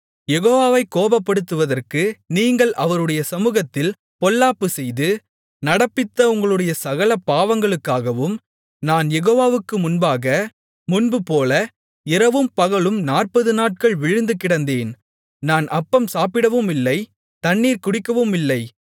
யெகோவாவைக் கோபப்படுத்துவதற்கு நீங்கள் அவருடைய சமுகத்தில் பொல்லாப்புச் செய்து நடப்பித்த உங்களுடைய சகல பாவங்களுக்காகவும் நான் யெகோவாவுக்கு முன்பாக முன்புபோல இரவும்பகலும் நாற்பது நாட்கள் விழுந்து கிடந்தேன் நான் அப்பம் சாப்பிடவுமில்லை தண்ணீர் குடிக்கவுமில்லை